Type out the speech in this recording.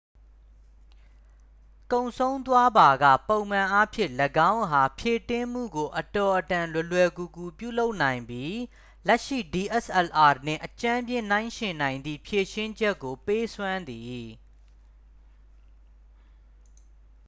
ကုန်ဆုံးသွားပါက ပုံမှန်အားဖြင့် ၎င်းအား ဖြည့်တင်းမှုကို အတော်အတန် လွယ်လွယ်ကူကူ ပြုလုပ်နိုင်ပြီး လက်ရှိ dslr နှင့် အကြမ်းဖျဉ်းနှိုင်းယဉ်နိုင်သည့် ဖြေရှင်းချက်ကို ပေးစွမ်းသည်